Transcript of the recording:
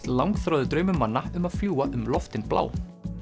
langþráður draumur manna um að fljúga um loftin blá